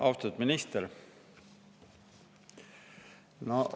Austatud minister!